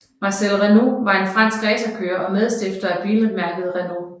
Marcel Renault var en fransk racerkører og medstifter af bilmærket Renault